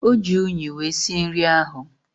Oji unyi wee sie nri ahu